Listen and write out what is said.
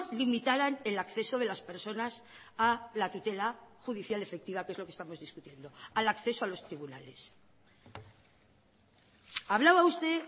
limitaran el acceso de las personas a la tutela judicial efectiva que es lo que estamos discutiendo al acceso a los tribunales hablaba usted